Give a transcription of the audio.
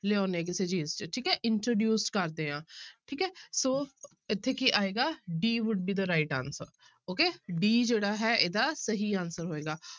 ਲਿਆਉਂਦੇ ਹਾਂ ਕਿਸੇ ਚੀਜ਼ ਚ ਠੀਕ ਹੈ introduce ਕਰਦੇ ਹਾਂ ਠੀਕ ਹੈ ਸੋ ਇੱਥੇ ਕੀ ਆਏਗਾ d would be the right answer okay d ਜਿਹੜਾ ਹੈ ਇਹਦਾ ਸਹੀ answer ਹੋਏਗਾ